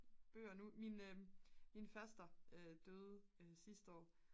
bøger nu min faster døde sidste år